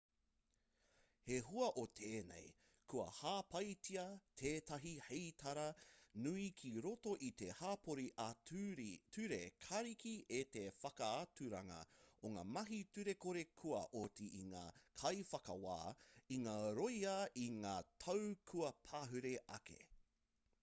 hei hua o tēnei kua hāpaitia tētahi heitara nui ki roto i te hapori ā-ture kariki e te whakaaturanga o ngā mahi turekore kua oti i ngā kaiwhakawā i ngā rōia i ngā tau kua pahure ake